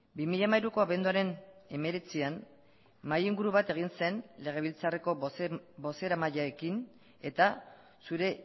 bi mila hamairuko abenduaren hemeretzian mahai inguru bat egin zen legebiltzarreko bozeramaileekin eta zure